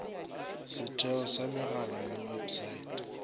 setheo sa megala le websaete